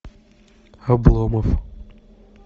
обломов